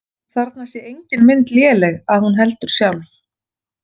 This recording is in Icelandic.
Þarna sé engin mynd léleg að hún heldur sjálf.